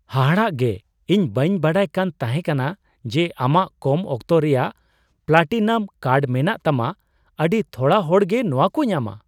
ᱦᱟᱦᱟᱲᱟᱜᱮ ! ᱤᱧ ᱵᱟᱹᱧ ᱵᱟᱰᱟᱭ ᱠᱟᱱ ᱛᱟᱦᱮᱠᱟᱱᱟ ᱡᱮ ᱟᱢᱟᱜ ᱠᱚᱢ ᱚᱠᱛᱚ ᱨᱮᱭᱟᱜ ᱯᱞᱟᱴᱤᱱᱟᱢ ᱠᱟᱨᱰ ᱢᱮᱱᱟᱜ ᱛᱟᱢᱟ ᱾ ᱟᱹᱰᱤ ᱛᱷᱚᱲᱟ ᱦᱚᱲᱜᱮ ᱱᱚᱣᱟ ᱠᱚ ᱧᱟᱢᱟ ᱾